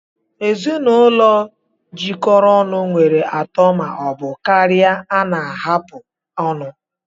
Ezinụlọ jikọrọ ọnụ nwere atọ ma ọ bụ karịa na-ahapụ ọnụ